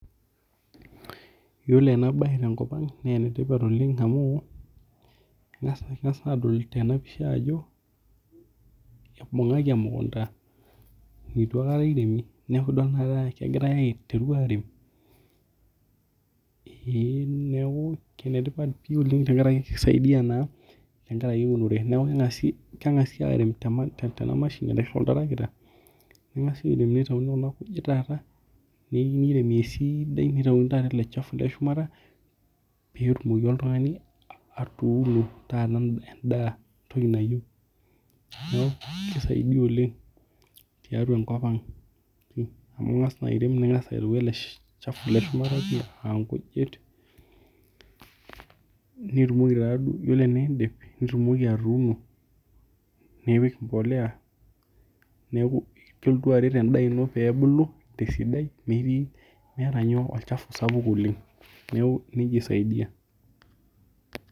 Iyiolo ena babe tenkop nag naa enyipat oleng amu ingas adol tenapisha ajo ibungaki emukunta neitu aikata iremii neekuu idol ajo kegirai aiteru airem ee nekuu enetipat oleng' tenkaraki kisadia naa tenkaraki eunore neeku kengasi airem te mashini shu toltirakita ningas aitanyu kuna kujit taata neyeu nireemi esiadai taata ele chafu le shumata peetumoki oltung'ani atuuno taata edaa entoki nayeu neeku kisaidia oleng tiatua enkop ang' amu ingas naa airem aituayu ele shafu le shumata pii aa nkujit nitumoki ore tenidip nitumoki atuno nipik emboleya neeku kelotu aret edaa ino pebulu tesidai meeta ninye olchafu sapuk oleng' neeku neija isadia.